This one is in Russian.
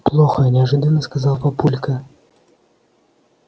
плохо неожиданно сказал папулька